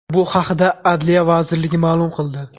Bu haqda Adliya vazirligi ma’lum qildi .